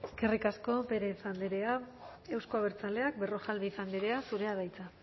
eskerrik asko pérez andrea euzko abertzaleak berrojalbiz andrea zurea da hitza